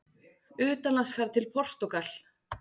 UTANLANDSFERÐ TIL PORTÚGAL